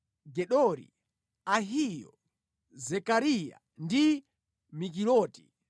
Gedori, Ahiyo, Zekariya ndi Mikiloti.